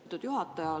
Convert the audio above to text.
Austatud juhataja!